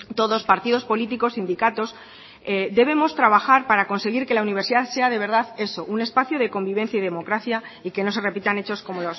todos partidos políticos sindicatos debemos trabajar para conseguir que la universidad sea de verdad eso un espacio de convivencia y democracia y que no se repitan hechos como